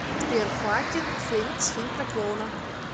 сбер хоакин феникс фильм про клоуна